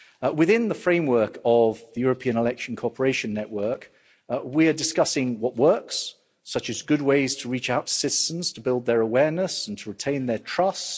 Within the framework of the European election cooperation network, we are discussing what works, such as good ways to reach out to citizens to build their awareness and to retain their trust.